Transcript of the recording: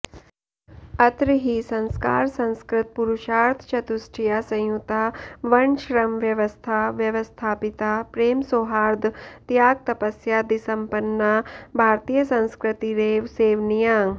अत्र हि संस्कारसंस्कृतपुरुषार्थचतुष्टयसंयुता वर्णश्रमव्यव्स्था व्यवस्थापिता प्रेमसौहार्दत्यागतपस्यादिसम्पन्ना भारतीयसंस्कृतिरेव सेवनीया